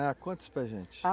Ah, conta isso para gente.